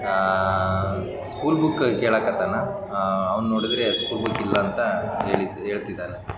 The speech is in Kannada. ಆಆ ಸ್ಕೂಲ್ ಬುಕ್ಕಾ ಕೆಲಕತ್ತಾನ. ಅಅ ಅವ್ರ್ ನೋಡಿದ್ರ ಸ್ಕೂಲ್ ಬುಕ್ ಇಲ್ಲ ಅಂತ ಹೇಳ್ತಿದ್ದಾನ.